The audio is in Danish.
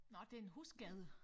Nå det en husskade